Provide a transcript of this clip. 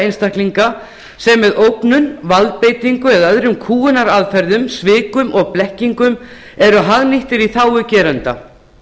einstaklinga sem með ógnum valdbeitingu eða öðrum kúgunaraðferðum svikum og blekkingum eru hagnýttar í þágu geranda